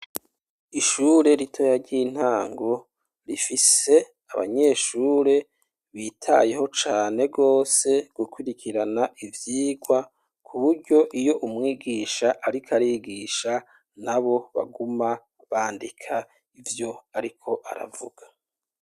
Ishure ritoya ry'intango rifise abanyeshure bitayeho cane gose gukurikirana ivyigwa, ku buryo iyo umwigisha ariko arigisha nabo baguma bandika ivyo ariko aravuga.